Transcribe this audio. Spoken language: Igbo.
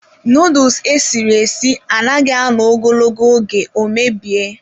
Nuduls esiri esi anaghị anọ ogologo oge ọ mebie.